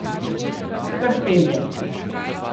Hrpelje.